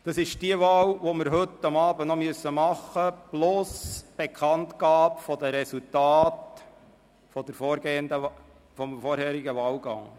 Das sind die Wahlen, die wir heute Abend noch erledigen müssen, genauso wie die Bekanntgabe der Resultate des vorherigen Wahlgangs.